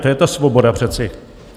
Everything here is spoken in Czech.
To je ta svoboda přece!